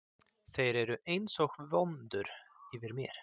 Þeir eru einsog vöndur yfir mér.